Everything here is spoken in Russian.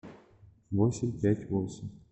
восемь пять восемь